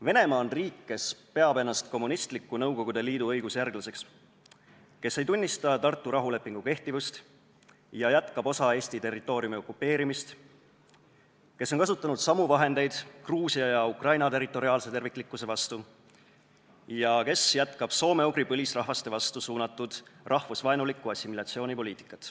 Venemaa on riik, kes peab ennast kommunistliku Nõukogude Liidu õigusjärglaseks, kes ei tunnista Tartu rahulepingu kehtivust ja jätkab osa Eesti territooriumi okupeerimist, kes on kasutanud samu vahendeid Gruusia ja Ukraina territoriaalse terviklikkuse vastu ja jätkab soome-ugri põlisrahvaste vastu suunatud rahvusvaenulikku assimilatsioonipoliitikat.